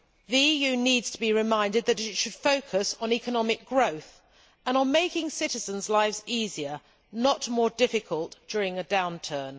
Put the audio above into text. The EU needs to be reminded that it should focus on economic growth and on making citizens' lives easier, not more difficult during a downturn.